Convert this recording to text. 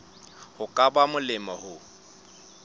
ho ka ba molemo ho